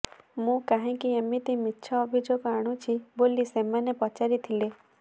ମୁଁ କାହିଁକି ଏମିତି ମିଛ ଅଭିଯୋଗ ଆଣୁଛି ବୋଲି ସେମାନେ ପଚାରିଥିଲେ